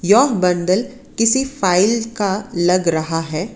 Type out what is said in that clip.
यह बंडल किसी फाइल का लग रहा है।